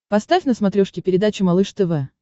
поставь на смотрешке передачу малыш тв